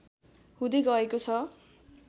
हुँदै गएको छ